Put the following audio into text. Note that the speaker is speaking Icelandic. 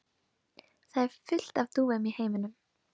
Það er til fullt af dúfum í heiminum.